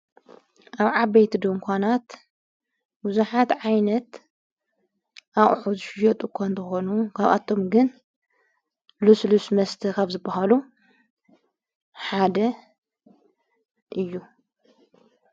ኣብ ዓበይት ዶንኳናት ብዙኃት ዓይነት ኣቝሑ ዙሽዮጡ እኳ እንተኾኑ ጓብኣቶም ግን ሉስልስ መስቲ ኸፍ ዝበሃሉ ሓደ እዩ::